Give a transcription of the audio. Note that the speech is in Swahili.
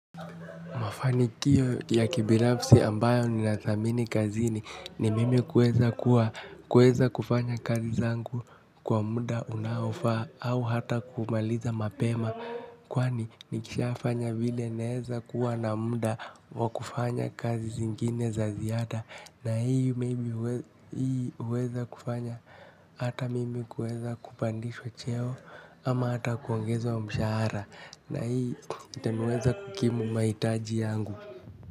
Mafanikio ya kibinafisi ambayo ninadhamini kazini ni mimi kueza kuwa kueza kufanya kazi zangu kwa muda unaofaa au hata kumaliza mapema. Kwani nikishafanya vile naeza kuwa na muda wa kufanya kazi zingine za ziada. Na hii huweza kufanya hata mimi kueza kupandishwa cheo ama hata kuangezwa wa mshahara. Na hii itaniweza kukimu mahitaji yangu.